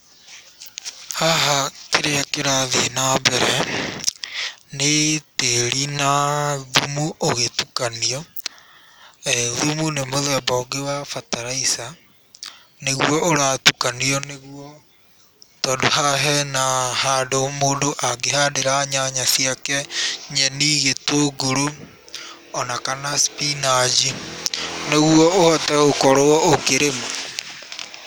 Haha kĩrĩa kĩrathiĩ na mbere nĩ tĩĩri na thumu ũgĩtukanio. Thumu nĩ mũthemba ũngĩ wa fertiliser, nĩguo ũratukanio tondũ haha hena handũ mũndũ angĩhandĩra nyanya ciake, nyeni, gĩtũngũrũ o na kana spinach nĩguo ũhote gũkorwo ũkĩrĩma.